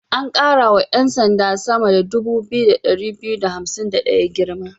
An ƙara wa 'yan sand sama 2251 girma.